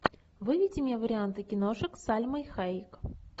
выведи мне варианты киношек с сальмой хайек